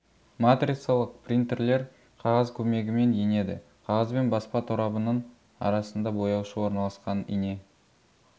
матрицалық принтерлер қағаз көмегімен енеді қағазбен баспа торабының арасында бояушы орналасқан ине